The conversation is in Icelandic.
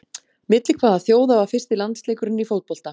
Milli hvaða þjóða var fyrsti landsleikurinn í fótbolta?